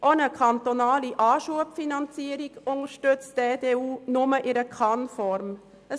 Auch eine kantonale Anschubfinanzierung unterstützt die EDU nur in der Kann-Formulierung.